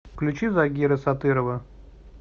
включи загира сатырова